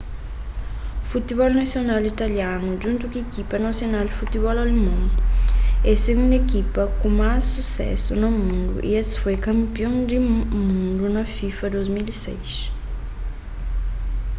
futibol nasional italianu djuntu ku ikipa nasional di futibol alemon é sigundu ikipa ku más susésu na mundu y es foi kanpion di mundiu di fifa na 2006